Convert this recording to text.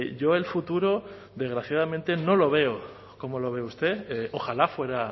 yo el futuro desgraciadamente no lo veo como lo ve usted ojalá fuera